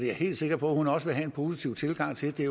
jeg helt sikker på at hun også vil have en positiv tilgang til det